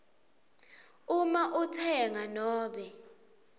uma utsenga nobe